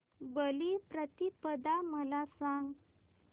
बलिप्रतिपदा मला सांग